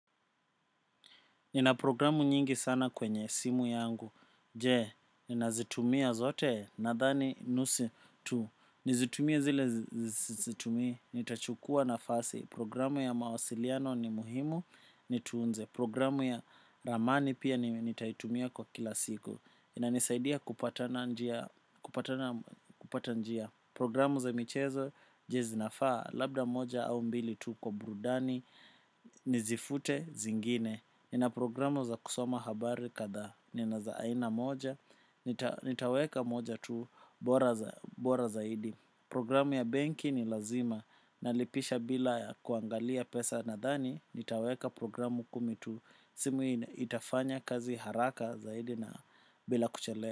Nina programu nyingi sana kwenye simu yangu, jee, nina zitumia zote, nadhani nusu tu, nizitumie zile zitumi, nitachukua na fasi, programu ya mawasiliano ni muhimu, nitunze, programu ya ramani pia nitaitumia kwa kila siku, inanisaidia kupata njia, kupata njia, programu za michezo, je zinafaa, labda moja au mbili tu kwa burudani, nizifute zingine. Nina programu za kusoma habari katha. Nina za aina moja. Nitaweka moja tu bora zaidi. Programu ya banki ni lazima. Nalipisha bila kuangalia pesa na thani. Nitaweka programu kumi tu simu itafanya kazi haraka zaidi na bila kuchelea.